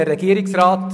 der SiK.